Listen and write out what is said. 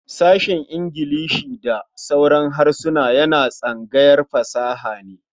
Sashen Ingilishi da sauran harsuna yana tsangayar fasaha ne.